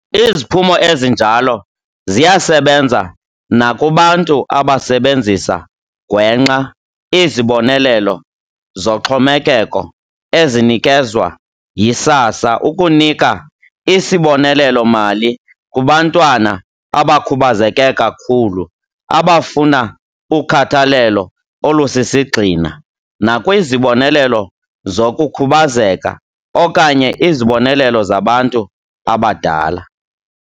Iziphumo ezinjalo ziyasebenza nakubantu abasebenzisa gwenxa izibonelelo zoxhomekeko ezinikezwa yiSASSA ukunika isibonelelo-mali kubantwana abakhubazeke kakhulu abafuna ukhathalelo olusisigxina, nakwizibonelelo zokukhubazeka okanye izibonelelo zabantu abadala.